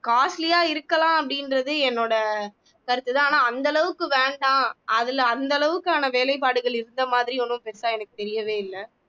costly யா இருக்கலாம் அப்படின்றது என்னோட கருத்துதான் ஆனா அந்த அளவுக்கு வேண்டாம் அதுல அந்த அளவுக்கான வேலைப்பாடுகள் இருந்த மாதிரி ஒண்ணும் பெருசா எனக்கு தெரியவே இல்லை